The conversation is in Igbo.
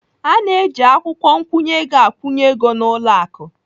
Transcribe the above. A na-eji akwụkwọ nkwụnye ego akwụnye ego n'ụlọ akụ.